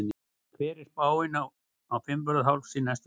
hver er spáin á fimmvörðuhálsi næstu daga